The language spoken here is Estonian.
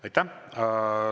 Aitäh!